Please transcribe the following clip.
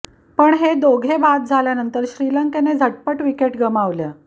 पण हे दोघे बाद झाल्यानंतर श्रीलंकेने झटपट विकेट गमावल्या